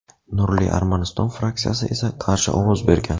"Nurli Armaniston" fraksiyasi esa qarshi ovoz bergan.